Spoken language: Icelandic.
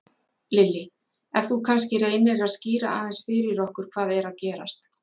Lillý: Ef þú kannski reynir að skýra aðeins fyrir okkur hvað er að gerast?